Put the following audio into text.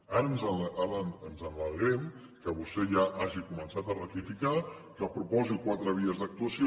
ara ens alegrem que vostè ja hagi començat a rectificar que proposi quatre vies d’actuació